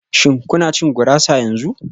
Shin kuna cin gurasa yanzu?